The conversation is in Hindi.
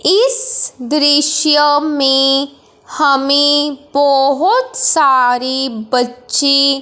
इस दृश्य में हमें बहोत सारी बच्ची--